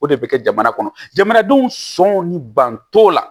O de bɛ kɛ jamana kɔnɔ jamanadenw sɔn ni banto la